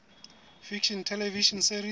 fiction television series